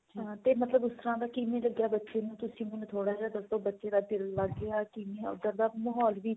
ਹਾਂ ਤੇ ਮਤਲਬ ਉਸ ਤਰਾਂ ਦਾ ਕਿਵੇਂ ਲੱਗਿਆ ਬੱਚੇ ਨੂੰ ਤੁਸੀਂ ਮੈਨੂੰ ਥੋੜਾ ਜਾ ਦੱਸੋ ਬੱਚੇ ਦਾ ਦਿਲ ਲੱਗ ਗਿਆ ਕਿਵੇਂ ਉੱਧਰ ਦਾ ਮਾਹੋਲ ਵੀ